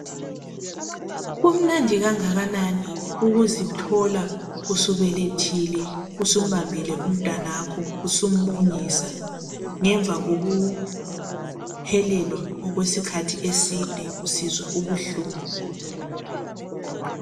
Kumnandi kangakanani ukuzithola usubelethile, usumbambile umntanakho, usumunyisa ngemva kokuhelelwa okwesikhathi eside usizwa ubuhlungu!